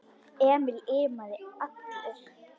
Emil iðaði allur.